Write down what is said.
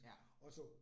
Ja